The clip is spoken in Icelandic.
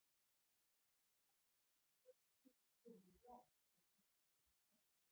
En ekki reyndust öll kurl komin til grafar hvað vísu þessa snerti.